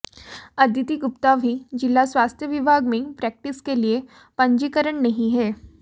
अदिति गुप्ता भी जिला स्वास्थ्य विभाग में प्रेक्टिस के लिए पंजीकरण नहीं है